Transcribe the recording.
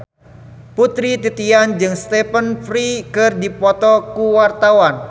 Putri Titian jeung Stephen Fry keur dipoto ku wartawan